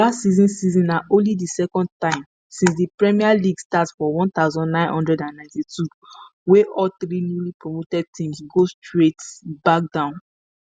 last season season na only di second time since di premier league start for one thousand, nine hundred and ninety-two wey all three newlypromoted teams go straight back down